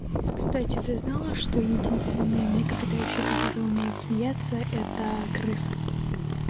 кстати ты знала что единственные млекопитающие которые умеют смеяться это крысы